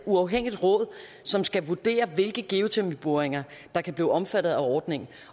uafhængigt råd som skal vurdere hvilke geotermiboringer der kan blive omfattet af ordningen